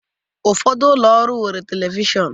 Ụfọdụ ụlọ ọrụ nwere telivishọn